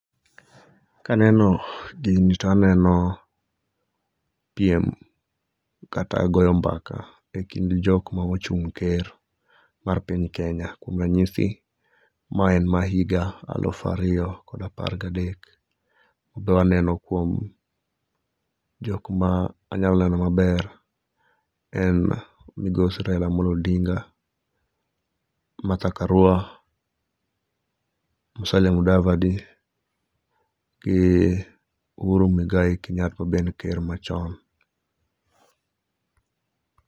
Kaneno gini to aneno piem kata goyo mbaka e kind jok ma ochuny ker mar piny Kenya, kuom ranyisi mae en ma higa alufu ariyo kod apar gakek, to aneno kuom jok ma anyalo lero maber en migosi Raila Amollo Odinga, Matha Karua, Musalia Mudavadi gi Ohuru Mwigai Kenyatta ma be en ker machon.